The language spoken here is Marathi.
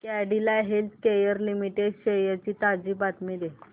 कॅडीला हेल्थकेयर लिमिटेड शेअर्स ची ताजी माहिती दे